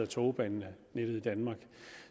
togbanenettet i danmark